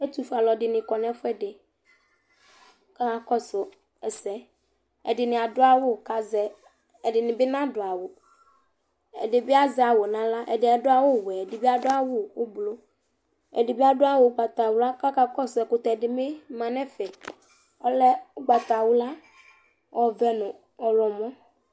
ɛtʋƒʋɛ alʋɛdini kɔnʋ ɛƒʋɛdi kʋ ɔkakɔsʋ ɛsɛ ɛdini adʋ awʋ kʋ azɛ ,ɛdinibi nadʋ awʋ, ɛdibi azɛ awʋ nʋ ala, ɛdi adʋ awʋ wɛ ɛdibi adʋ awʋ ɔblɔ, ɛdibi adʋ awʋ ɔgbatawla kʋ akakɔsʋ ɛkʋtɛ ɛdibi manʋ ɛƒɛ ɔlɛ ɔgbatawla ɔvɛ nʋ ɔwlɔmɔ